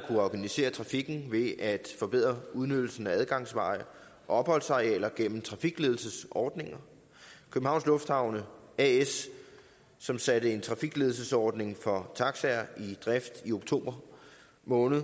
kunne organisere trafikken ved at forbedre udnyttelsen af adgangsveje opholdsarealer gennem trafikledelsesordninger københavns lufthavne as som satte en trafikledelsesordning for taxaer i drift i oktober måned